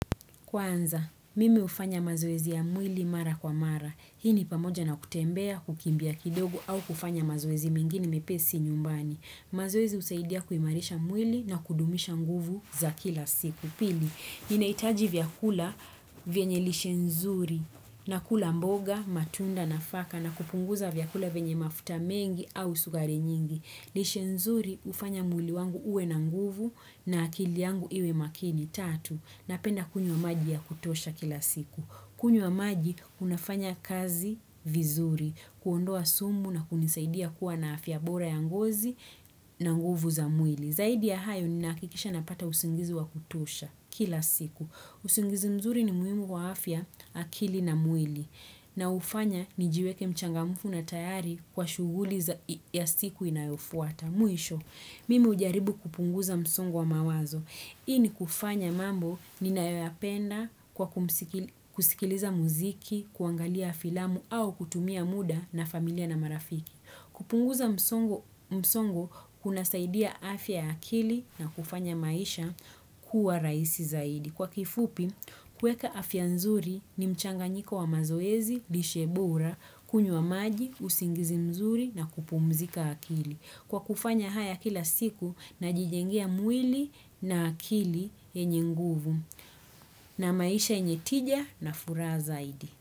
Kwanza, mime ufanya mazoezi ya mwili mara kwa mara. Hii ni pamoja na kutembea, kukimbia kidogo au kufanya mazoezi mingini mepesi nyumbani. Mazoezi usaidia kuimarisha mwili na kudumisha nguvu za kila siku. Kupili, inaitaji vyakula vienye lishenzuri na kula mboga, matunda na faka na kupunguza vyakula vienye mafuta mengi au sukuri nyingi. Lishenzuri, ufanya mwili wangu uwe na nguvu na akili yangu iwe makini. Na penda kunywa maji ya kutosha kila siku. Kunywa maji, unafanya kazi vizuri. Kuondoa sumu na kunisaidia kuwa na afya bora ya ngozi na nguvu za mwili. Zaidi ya hayo ni nakikisha na pata usingizi wa kutosha kila siku. Usingizi mzuri ni muimu wa afya akili na mwili. Na ufanya ni jiweke mchangamufu na tayari kwa shuguli ya siku inayofuata. Mwisho, mimi ujaribu kupunguza msongo wa mawazo. Hii ni kufanya mambo ninayapenda kwa kusikiliza muziki, kuangalia filamu au kutumia muda na familia na marafiki. Kupunguza msongo kuna saidia afya akili na kufanya maisha kuwa raisi zaidi. Kwa kifupi, kueka afya nzuri ni mchanga nyiko wa mazoezi, lishebura, kunyu wa maji, usingizi mzuri na kupumzika akili. Kwa kufanya haya kila siku na jijengia mwili na akili enye nguvu na maisha enye tija na furazaidi.